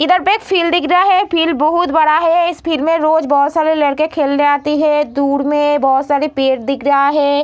इधर पे एक फील्ड दिख रहा है फील्ड बहुत बड़ा है इस फील्ड में रोज बहुत सारे लड़के खेलने आते हैं दूर में बहुत सारे पेड़ दिख रहा है।